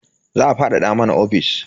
Za a fadada mana ofis.